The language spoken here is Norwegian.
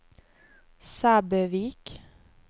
Sæbøvik